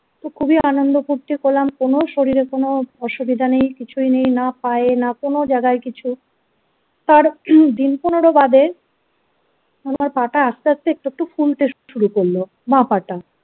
তো খুবই আনন্দ ফুর্তি করলাম কোনো শরীরে কোনো অসুবিধা নেই. কিছুই নেই না পায়ে না কোনো জায়গায় কিছু কার উম দিন পনেরো বাদে আমার পা টা আস্তে আস্তে একটু একটু ফুলতে শুরু করলো বাঁ পা টা।